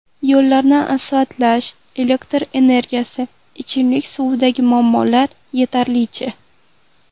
Yo‘llarni asfaltlash, elektr energiyasi, ichimlik suvidagi muammolar yetarlicha.